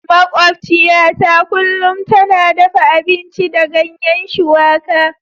Makwabciyata kullum tana dafa abinci da ganyen shuwaka.